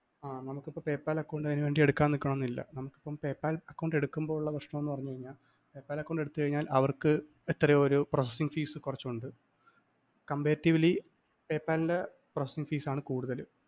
ആ നമുക്കിപ്പം PayPal account അതിനുവേണ്ടി എടുക്കാന്‍ നിക്കണമെന്നില്ല PayPal account എടുക്കുമ്പോഉള്ള പ്രശ്നം എന്ന് പറഞ്ഞ്കഴിഞ്ഞാല്‍ PayPal account എടുത്ത്കഴിഞ്ഞാല്‍ അവര്‍ക്ക് എത്രയോ ഒരു processing fees കുറച്ചുണ്ട് comparatively PayPal ന്റെ processing fees ആണ്കുടുതല്‍.